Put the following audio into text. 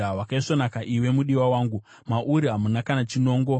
Wakaisvonaka iwe, mudiwa wangu; mauri hamuna kana chinongo.